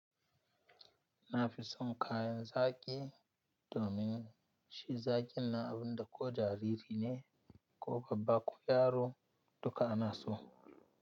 Na fi son kayan zaki domin shi zaki na abun da ko jariri ne ko babba ko yaro duka ana so.